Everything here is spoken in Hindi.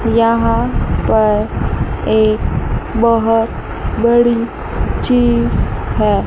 यहां पर एक बहोत बड़ी चीज है।